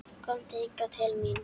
Komdu hingað til mín!